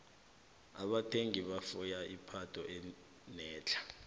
abathengi bafuna ipatho enetlha